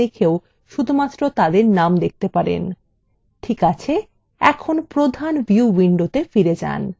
ঠিক আছে এখন প্রধান view window ফিরে main